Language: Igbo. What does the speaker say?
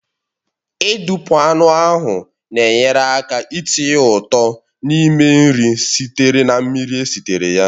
Ị dupu anụ ahụ na-enyere aka itinye ụtọ n'ime nri sitere na mmiri esitere ya